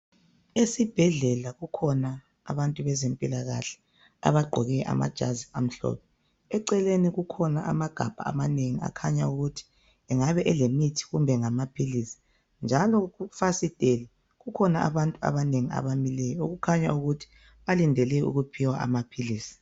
esibhedlela kukhona abantu bezempilakahle abagqoke amajazi amhlophe eceleni kukhona amagabha amanengi akhanya ukuthi engaba elemithi kumbe ngamaphilisi njalo kufasiteli kukhona abantu abanengi abamileyo kukhanya ukuthi balindele ukuphiwa amaphilisi